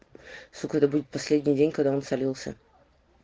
сука это будет последний день когда он солился